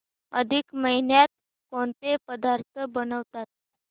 अधिक महिन्यात कोणते पदार्थ बनवतात